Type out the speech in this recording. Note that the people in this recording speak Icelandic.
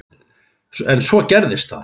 En svo gerist það.